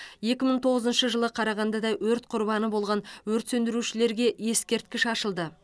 екі мың тоғызыншы жылы қарағандыда өрт құрбаны болған өрт сөндірушілерге ескерткіш ашылды